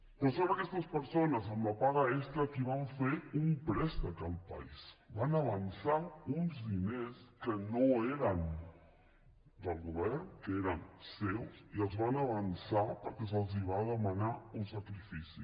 però són aquestes persones amb la paga extra les que van fer un préstec al país van avançar uns diners que no eren del govern que eren seus i els van avançar perquè se’ls va demanar un sacrifici